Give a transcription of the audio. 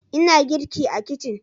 Ina girki a kicin